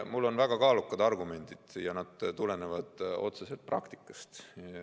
Mul on väga kaalukad argumendid ja need tulenevad otseselt praktikast.